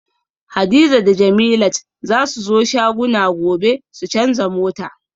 Hadiza da jemilat zasu zo shagona gobe su canza mota